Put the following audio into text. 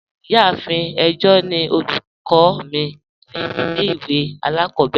Ìyàáfín ẹ̀jọ̀ ni ọlúkọ̀ mi ni ilẹ̀-ìwé alákòbèrè.